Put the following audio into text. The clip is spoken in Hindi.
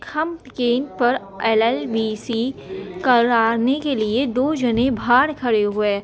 हम केंद्र पर एल.एल.बी.सी. कराने के लिए दो जने बाहर खड़े हुए है।